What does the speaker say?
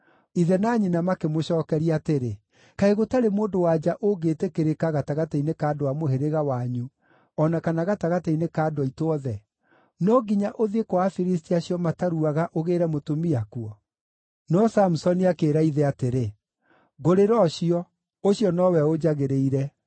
Ithe na nyina makĩmũcookeria atĩrĩ, “Kaĩ gũtarĩ mũndũ-wa-nja ũngĩĩtĩkĩrĩka gatagatĩ-inĩ ka andũ a mũhĩrĩga wanyu o na kana gatagatĩ-inĩ ka andũ aitũ othe? No nginya ũthiĩ kwa Afilisti acio mataruaga ũgĩĩre mũtumia kuo”? No Samusoni akĩĩra ithe atĩrĩ, “Ngũrĩra ũcio. Ũcio nowe ũnjagĩrĩire.”